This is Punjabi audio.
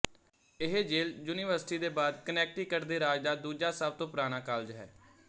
ਇਹ ਯੇਲ ਯੂਨੀਵਰਸਿਟੀ ਦੇ ਬਾਅਦ ਕਨੈਕਟੀਕਟ ਦੇ ਰਾਜ ਦਾ ਦੂਜਾ ਸਭ ਤੋਂ ਪੁਰਾਣਾ ਕਾਲਜ ਹੈ